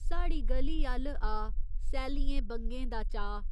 साढ़ी ग'ली अ'ल्ल आ सैल्लियें बंगें दा चाऽ।